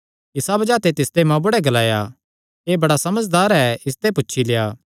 इसा बज़ाह ते तिसदे मांऊ बुढ़ैं ग्लाया एह़ बड़ा समझदार ऐ इसते पुछी लेआ